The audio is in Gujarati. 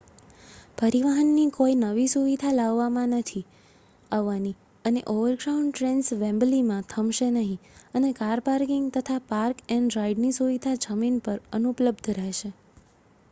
પરિવહન ની કોઈ નવી સુવિધા લાવવામાં નથી આવવાની અને ઓવરગ્રાઉન્ડ ટ્રેન્સ વેમ્બલીમાં થમશે નહિ અને કાર પાર્કિંગ તથા પાર્ક-એંડ-રાઈડ ની સુવિધા જમીન પર અનુપલબ્ધ રહેશે